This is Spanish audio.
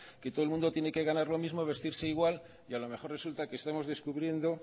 que todo el mundo tiene que ganar lo mismo vestirse igual y a lo mejor resulta que estamos descubriendo